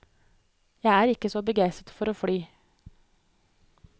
Jeg er ikke så begeistret for å fly.